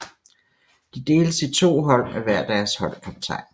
De deles i to hold med hver deres holdkaptajn